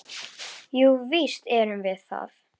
Jú, víst erum við það.